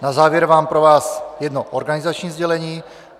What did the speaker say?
Na závěr mám pro vás jedno organizační sdělení.